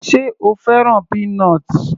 Sé o fẹ́ràn peanut l?